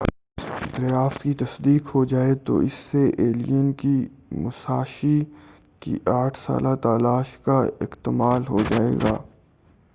اگر اس دریافت کی تصدیق ہو جائے تو اس سے ایلین کی موساشی کی آٹھ سالہ تلاش کا اکتمال ہو جائے گا